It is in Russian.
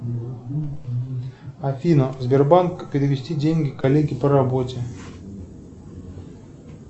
афина сбербанк перевести деньги коллеге по работе